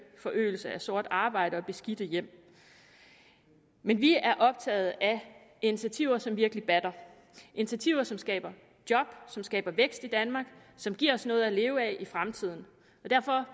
forøgelse af sort arbejde og beskidte hjem men vi er optaget af initiativer som virkelig batter initiativer som skaber job som skaber vækst i danmark som giver os noget at leve af i fremtiden derfor